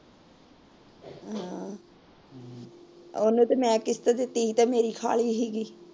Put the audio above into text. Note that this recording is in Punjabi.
ਉਹਨੂੰ ਤੇ ਮੈ ਕਿਸ਼ਤ ਦਿਤੀ ਸੀ ਮੇਰੀ ਖਾ ਲਈ ਸੀ